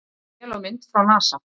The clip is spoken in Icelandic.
Sést vel á mynd frá NASA